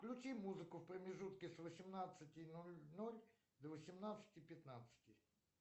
включи музыку в промежутке с восемнадцати ноль ноль до восемнадцати пятнадцати